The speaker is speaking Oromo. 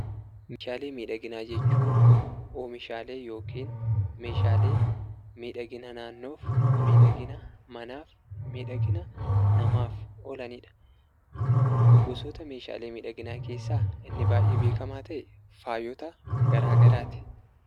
Meeshaalee miidhaginaa jechuun oomishaalee yookiin meeshaalee miidhagina naannoof, miidhagina manaaf, miidhagina namaaf oolani dha. Gosoota meeshaalee miidhaginaa keessaa inni baay'ee beekamaa ta'e faayota garaagaraa ti.